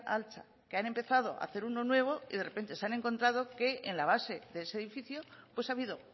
altza que han empezado a hacer uno nuevo y de repente se han encontrado que en la base de ese edificio pues ha habido